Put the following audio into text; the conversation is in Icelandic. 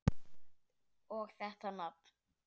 Og þetta nafn!